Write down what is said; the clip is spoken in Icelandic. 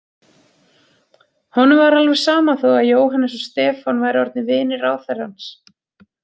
Honum var alveg sama þó að Jóhannes og Stefán væru orðnir vinir ráðherrans.